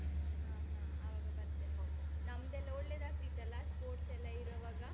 ಹಾ ಹಾ, ಆವಾಗ ಬರ್ತೇನೆ ನಾನು. ನಮ್ದೆಲ್ಲ ಒಳ್ಳೆದಾಗ್ತಿತ್ತಲ್ಲ sports ಎಲ್ಲ ಇರುವಾಗ?